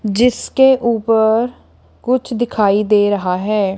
जिसके ऊपर कुछ दिखाई दे रहा है।